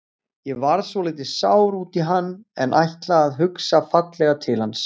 Ég varð svolítið sár út í hann en ætla að hugsa fallega til hans.